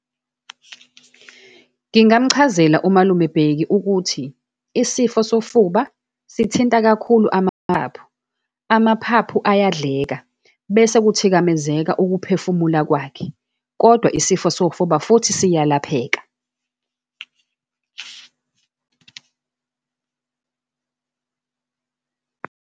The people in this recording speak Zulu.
Ngingamchazela umalume Bheki ukuthi, isifo sofuba sithinta kakhulu amaphaphu, amaphaphu ayadleka bese kuthikamezeka ukuphefumula kwakhe, kodwa isifo sofuba futhi siyalapheka.